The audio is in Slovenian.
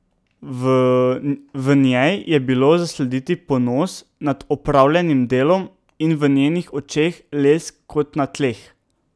V njej je bilo zaslediti ponos nad opravljenim delom in v njenih očeh lesk kot na tleh.